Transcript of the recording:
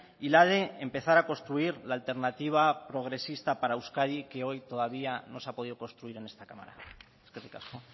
y la de empezar a construir la alternativa progresista para euskadi que hoy todavía no se ha podido construir en esta cámara eskerrik asko